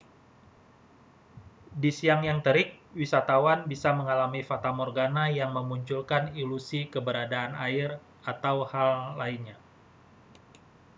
di siang yang terik wisatawan bisa mengalami fatamorgana yang memunculkan ilusi keberadaan air atau hal lainnya